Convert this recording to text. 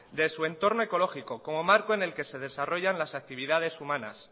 de su entorno ecológico como marco en el que se desarrollan las actividades humanas